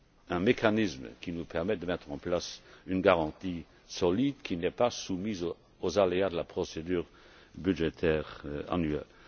prix un mécanisme nous permettant de mettre en place une garantie solide qui ne soit pas soumise aux aléas de la procédure budgétaire annuelle.